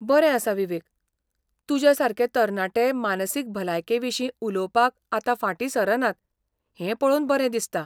बरें आसा विवेक, तुज्या सारके तरणाटे मानसीक भलायके विशीं उलोवपाक आतां फाटीं सरनात हें पळोवन बरें दिसता.